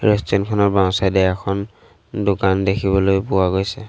Restaurant খনৰ বাওঁচাইড এ এখন দোকান দেখিবলৈ পোৱা গৈছে।